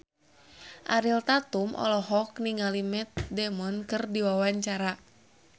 Ariel Tatum olohok ningali Matt Damon keur diwawancara